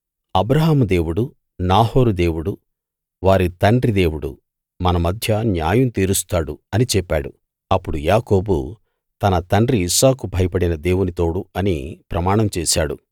అబ్రాహాము దేవుడు నాహోరు దేవుడు వారి తండ్రి దేవుడు మన మధ్య న్యాయం తీరుస్తాడు అని చెప్పాడు అప్పుడు యాకోబు తన తండ్రి ఇస్సాకు భయపడిన దేవుని తోడు అని ప్రమాణం చేశాడు